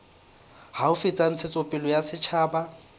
haufi tsa ntshetsopele ya setjhaba